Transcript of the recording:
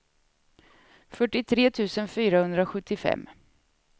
fyrtiotre tusen fyrahundrasjuttiofem